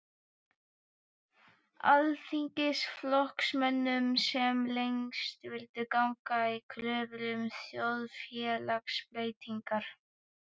Alþýðuflokksmönnum, sem lengst vildu ganga í kröfum um þjóðfélagsbreytingar.